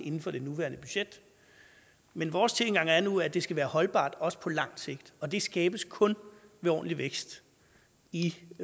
inden for det nuværende budget men vores tilgang er nu at det skal være holdbart også på lang sigt og det skabes kun ved ordentlig vækst i